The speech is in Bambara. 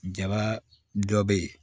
Jaba dɔ bɛ ye